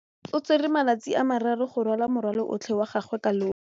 O tsere malatsi a le marraro go rwala morwalo otlhe wa gagwe ka llori.